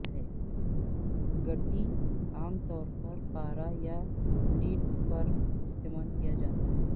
گٹی عام طور پر پارا یا لیڈ پر استعمال کیا جاتا ہے